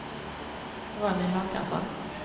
Ronny Håkansson